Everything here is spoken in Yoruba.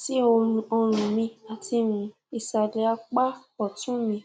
si orun mi ati um isale apa otun mi